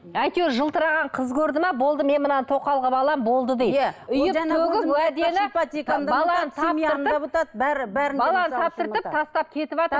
әйтеуір жылтыраған қыз көрді ме болды мен мынаны тоқал қылып аламын болды дейді таптыртып тастап кетіватыр